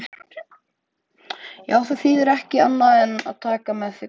Já, það þýðir ekki annað en taka því með karlmennsku.